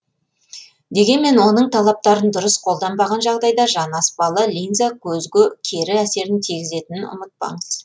дегенмен оның талаптарын дұрыс қолданбаған жағдайда жанаспалы линза көзге кері әсерін тигізетінін ұмытпаңыз